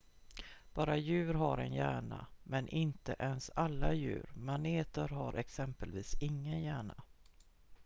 bara djur har en hjärna men inte ens alla djur; maneter har exempelvis ingen hjärna